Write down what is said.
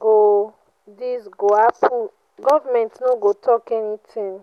go dis go happen government no go talk anything.